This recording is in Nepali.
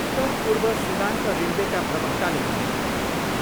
उत्तर पूर्व सीमान्त रेलवेका प्रवक्ताले भने,